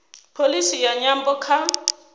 pholisi ya nyambo kha